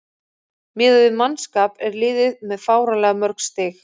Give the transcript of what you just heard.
Miðað við mannskap er liðið með fáránlega mörg stig.